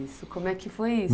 Isso, como é que foi isso?